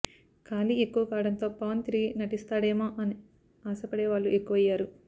ఖాళీ ఎక్కువ కావడంతో పవన్ తిరిగి నటిస్తాడేమో అని ఆశపడే వాళ్లు ఎక్కువయ్యారు